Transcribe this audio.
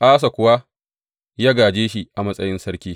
Asa kuwa ya gāje shi a matsayin sarki.